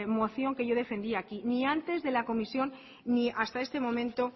moción que yo defendí aquí ni antes de la comisión ni hasta este momento